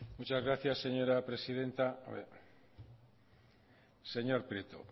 muchas gracias señora presidenta hombre señor prieto